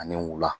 Ani wula